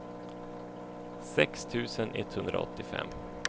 sex tusen etthundraåttiofem